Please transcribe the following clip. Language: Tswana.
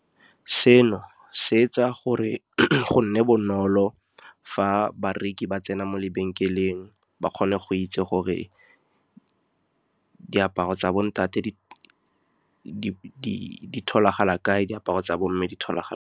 Seno se etsa gore go nne bonolo fa bareki ba tsena mo lebenkeleng, ba kgone go itse gore diaparo tsa bo ntate di tholagala kae, diaparo tsa bo mme di tholagala.